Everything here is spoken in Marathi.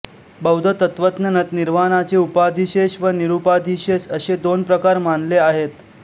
बौद्ध तत्त्वज्ञानात निर्वाणाचे उपाधिशेष व निरुपाधिशेष असे दोन प्रकार मानले आहेत